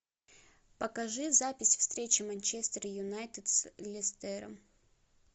покажи запись встречи манчестер юнайтед с лестером